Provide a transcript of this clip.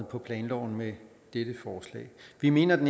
på planloven med dette forslag vi mener